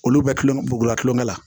Olu bɛ kulonkɛ bugula kulonkɛ la